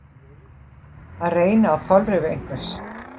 Að reyna á þolrif einhvers